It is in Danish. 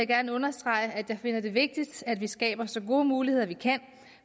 gerne understrege at jeg finder det vigtigt at vi skaber så gode muligheder vi kan